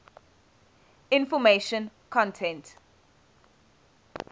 information content